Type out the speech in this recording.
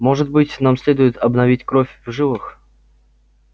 может быть нам следует обновить кровь в жилах